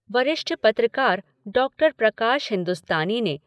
वरिष्ठ पत्रकार डॉक्टर प्रकाश हिंदुस्तानी ने